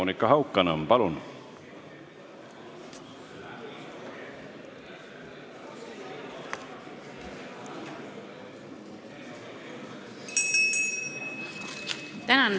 Monika Haukanõmm, palun!